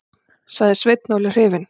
sagði Sveinn Óli hrifinn.